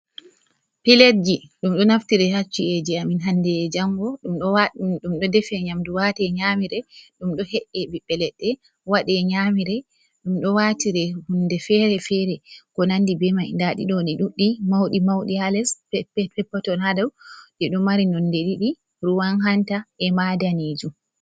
Pletji, ɗum ɗo naftire ha ci'eji amin hande e jango. Ɗum ɗo defe nyamdu wate, nyamire, ɗum ɗo he'e ɓibɓe leɗɗe waɗe nyamire. Ɗum ɗo watire hunde fere-fere, ko nandi be mai. Nda ɗi ɗo, di ɗuɗɗi. Mauɗi-mauɗi ha les perpeton ha dou. Ɗi ɗo mari nonde ɗiɗi, ruwan hanta e maa daneejum.